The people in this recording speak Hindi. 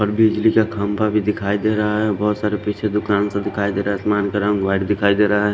और बिजली का खंबा भी देखाई दे रहा है बहुत सारे पीछे दुकान से देखाई दे रहा है आसमान का रंग व्हाइट देखाई दे रहा है।